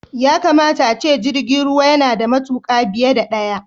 Yakamata ace jirgi yana da matuƙa biye da ɗaya.